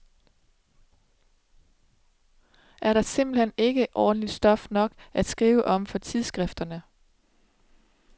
Er der simpelt hen ikke ordentlig stof nok at skrive om for tidsskrifterne.